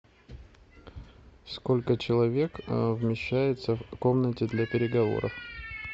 сколько человек вмещается в комнате для переговоров